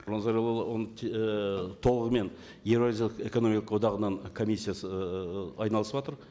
нұрлан зайроллаұлы оның і толығымен еуразиялық эккономикалық одағының комиссиясы ы айналысыватыр